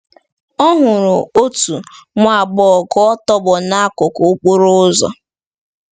Ọ hụrụ otu nwa agbọghọ ka ọ tọgbọ n’akụkụ okporo ụzọ.